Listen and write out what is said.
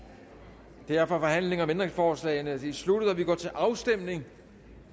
derfor er forhandlingen om ændringsforslagene sluttet og vi går til afstemning